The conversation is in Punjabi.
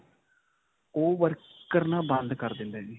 ਓਹ work ਕਰਨਾ ਬੰਦ ਕਰ ਦਿੰਦਾ ਹੈ ਜੀ.